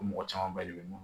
O mɔgɔ caman ba de bɛ mun